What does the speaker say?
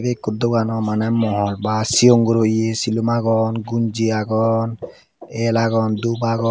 ikko dogano maney mohol ba sigon guro iye silum agon gonji agon el agon dub agon.